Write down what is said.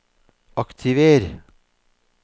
aktiver